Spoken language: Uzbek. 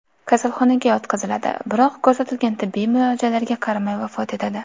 kasalxonaga yotqiziladi, biroq ko‘rsatilgan tibbiy muolajalarga qaramay vafot etadi.